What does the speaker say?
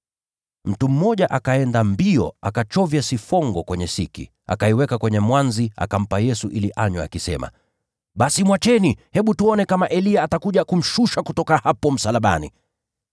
Mtu mmoja akaenda mbio, akachovya sifongo kwenye siki, akaiweka kwenye mwanzi na akampa Yesu ili anywe, akisema, “Basi mwacheni. Hebu tuone kama Eliya atakuja kumshusha kutoka hapo msalabani.”